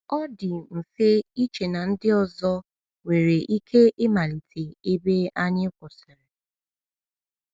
Ọ dị mfe iche na ndị ọzọ nwere ike ịmalite ebe anyị kwụsịrị.